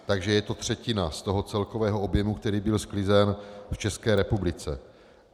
Takže je to třetina z toho celkového objemu, který byl sklizen v České republice.